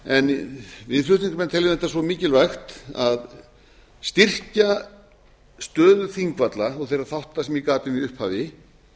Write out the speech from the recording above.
en við flutningsmenn teljum þetta svo mikilvægt að styrkja stöðu þingvalla og þeirra þátta sem ég gat um í upphafi